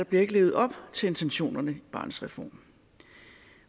bliver levet op til intentionerne i barnets reform